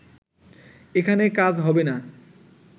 এখানে কাজ হবে না